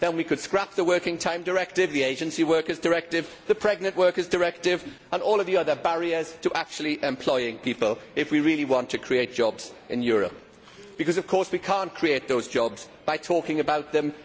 Then we could scrap the Working Time Directive, the Agency Workers Directive, the Pregnant Workers Directive and all of the other barriers to actually employing people if we really want to create jobs in Europe. We cannot create those jobs by talking about them